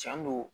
Cɛn do